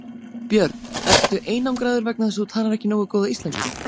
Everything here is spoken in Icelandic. Björn: Ertu einangraður vegna þess að þú talar ekki nógu góða íslensku?